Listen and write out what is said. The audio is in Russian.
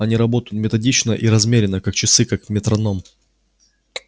они работают методично и размеренно как часы как метроном